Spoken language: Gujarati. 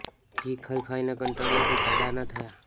ઘી ખાઇ ખાઇને કંટાળ્યા તોય જાડા ના થયા